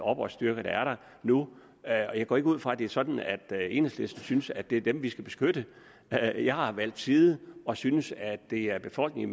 oprørsstyrker der er der nu og jeg går ikke ud fra at det er sådan at enhedslisten synes at det er dem vi skal beskytte jeg jeg har valgt side og synes at det er befolkningen